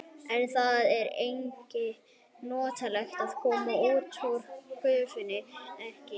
En það er ekki notalegt að koma út úr gufunni einkanlega í frosti.